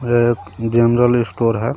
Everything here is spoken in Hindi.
एक जनरल स्टोर है.